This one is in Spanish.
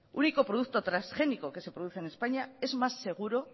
único producto transgénico que se produce en españa es más seguro